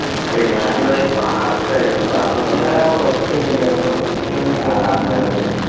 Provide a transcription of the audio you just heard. അതെ ഞാനിവിടെ പാടത്ത് ആയിരുന്നു പാടത്ത്, ആഹ്